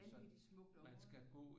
Vanvittigt smukt område